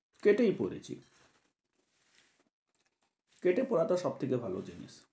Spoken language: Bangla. কেটেই পড়েছি, কেটে পড়াটা সব থেকে ভালো জিনিস।